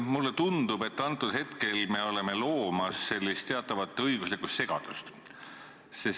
Mulle tundub, et me oleme loomas teatavat õiguslikku segadust.